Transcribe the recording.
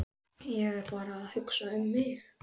Ég er bara að hugsa mig um.